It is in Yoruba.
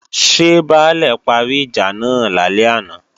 Ṣé Baálè parí ìjà náà lálẹ́ àná?